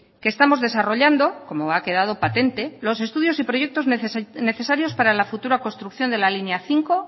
que estamos desarrollando como ha quedado patente los estudios y proyectos necesarios para la futura construcción de la línea cinco